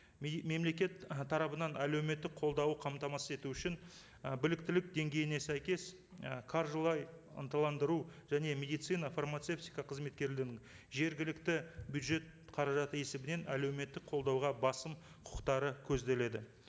мемлекет ы тарапынан әлеуметтік қолдауы қамтамасыз ету үшін ы біліктілік деңгейіне сәйкес ы қаржылай ынталандыру және медицина фармацевтика қызметкерлерін жергілікті бюджет қаражаты есебінен әлеуметтік қолдауға басым құқықтары көзделеді